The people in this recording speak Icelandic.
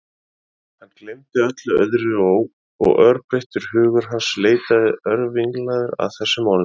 Hann gleymdi öllu öðru og örþreyttur hugur hans leitaði örvinglaður að þessum orðum.